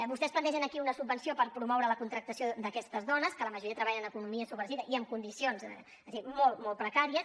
vostès plantegen aquí una subvenció per promoure la contractació d’aquestes dones que la majoria treballen en l’economia submergida i en condicions és a dir molt precàries